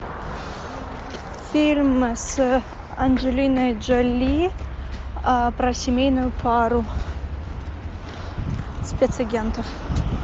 фильм с анджелиной джоли про семейную пару спецагентов